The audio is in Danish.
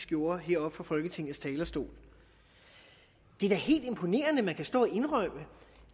gjorde heroppe fra folketingets talerstol det er da helt imponerende at man kan stå og indrømme